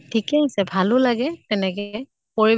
ঠিকে আছে। ভালো লাগে তেনেকে পৰি